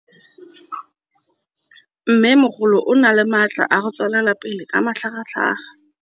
Mmêmogolo o na le matla a go tswelela pele ka matlhagatlhaga.